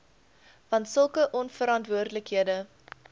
want sulke onverantwoordelike